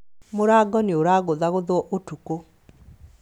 Mũrango nĩũragũthagũthwo ũtukũ